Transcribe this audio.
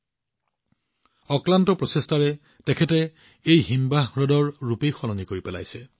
তেওঁৰ অক্লান্ত প্ৰচেষ্টাৰ দ্বাৰা এই হিমবাহ হ্ৰদৰ ৰূপ আৰু অনুভৱ সলনি কৰিছে